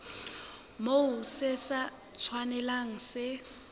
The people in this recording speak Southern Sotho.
moo se sa tshwanelang se